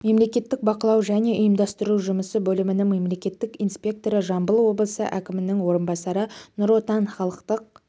мемлекеттік бақылау және ұйымдастыру жұмысы бөлімінің мемлекеттік инспекторы жамбыл облысы әкімінің орынбасары нұр отан халықтық